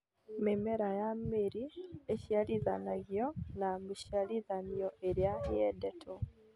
Mĩmera ya mĩri ĩciarithanagio na mĩciarithanio ĩrĩa yendetwo